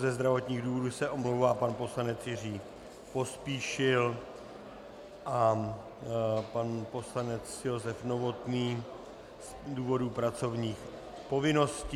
Ze zdravotních důvodů se omlouvá pan poslanec Jiří Pospíšil a pan poslanec Josef Novotný z důvodu pracovních povinností.